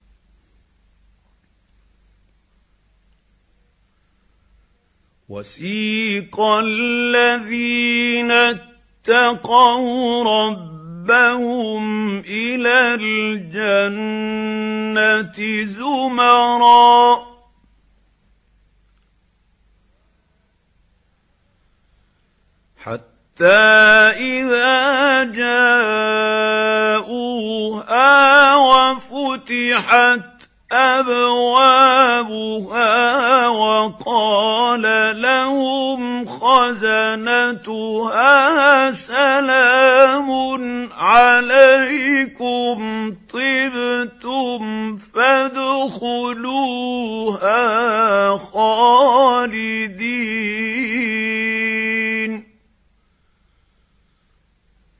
وَسِيقَ الَّذِينَ اتَّقَوْا رَبَّهُمْ إِلَى الْجَنَّةِ زُمَرًا ۖ حَتَّىٰ إِذَا جَاءُوهَا وَفُتِحَتْ أَبْوَابُهَا وَقَالَ لَهُمْ خَزَنَتُهَا سَلَامٌ عَلَيْكُمْ طِبْتُمْ فَادْخُلُوهَا خَالِدِينَ